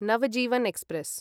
Navjivan express